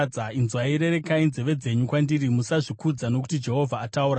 Inzwai, rerekai nenzeve dzenyu kwandiri, musazvikudza, nokuti Jehovha ataura.